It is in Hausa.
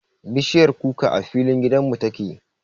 Bishiyar kukar a filin gidan mu ta ke